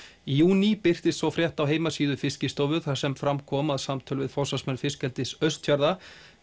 í júní birtist svo frétt á heimasíðu Fiskistofu þar sem fram kom að samtöl við forsvarsmenn fiskeldis Austfjarða